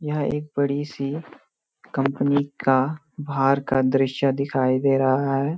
यह एक बड़ी-सी कंपनी का बाहर का दृश्य दिखाई दे रहा है।